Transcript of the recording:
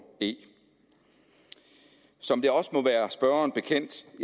e som det også må være spørgeren bekendt